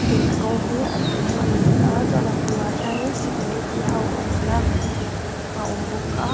gate rawng hi a dum ani a chuanin a bulah hianin security ho awmna a awm bawk a.